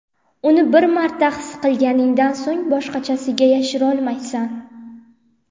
Uni bir marta his qilganingdan so‘ng, boshqachasiga yasholmaysan.